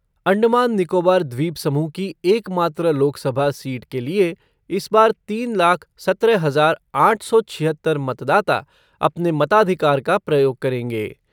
अंडमान निकोबार द्वीपसमूह की एकमात्र लोकसभा सीट के लिए इस बार तीन लाख सत्रह हजार आठ सौ छियहत्तर मतदाता अपने मताधिकार का प्रयोग करेंगे।